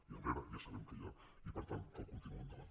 i enrere ja sabem què hi ha i per tant cal continuar endavant